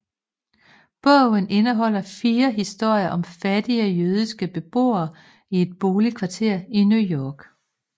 Bogen indeholder fire historier om fattige jødiske beboere i et boligkvarter i New York